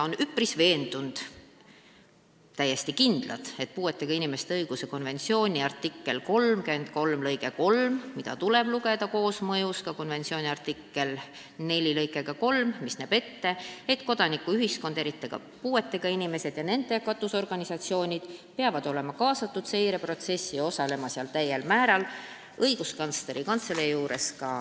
Sotsiaaldemokraadid on täiesti kindlad, et puuetega inimeste õiguste konventsiooni artikli 33 lõige 3, mida tuleb lugeda koosmõjus konventsiooni artikli 4 lõikega 3, mis näeb ette, et kodanikuühiskond, eriti aga puuetega inimesed ja nende katusorganisatsioonid tuleb kaasata seireprotsessi, et nad seal täiel määral osaleksid, leiab Õiguskantsleri Kantseleis toetust.